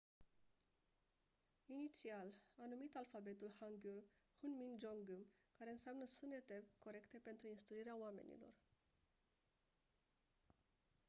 inițial a numit alfabetul hangeul hunmin jeongeum care înseamnă «sunetele corecte pentru instruirea oamenilor».